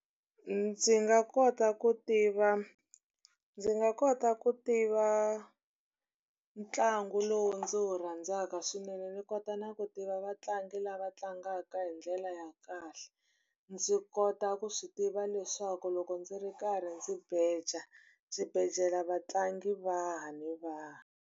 Ndzi nga kota ku tiva ndzi nga kota ku tiva ntlangu lowu ndzi wu rhandzaka swinene, ndzi kota na ku tiva vatlangi ni nga lava tlangaka hi ndlela ya kahle. Ndzi kota ku swi tiva leswaku loko ndzi ri karhi ndzi beja, ndzi beja vatlangi va hi ni va hi.